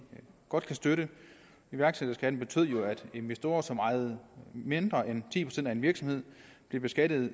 godt kan støtte iværksætterskatten betød jo at investorer som ejede mindre end ti procent af en virksomhed blev beskattet